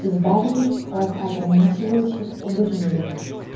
избавитесь от ограничивающих убеждений